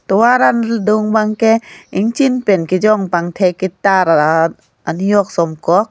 tovar adung bangke ingchin pen ejong pathek ketar ah anujok sumkok.